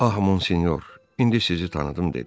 Ah Mon Sinyor, indi sizi tanıdım dedi.